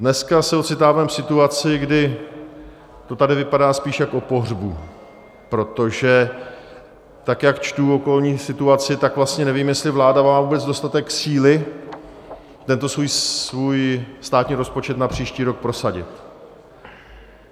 Dneska se ocitáme v situaci, kdy to tady vypadá spíš jak o pohřbu, protože tak jak čtu okolní situaci, tak vlastně nevím, jestli vláda má vůbec dostatek síly tento svůj státní rozpočet na příští rok prosadit.